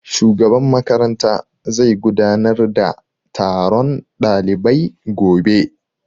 Shugaban makaranta zai gudanar da taron ɗalibai gobe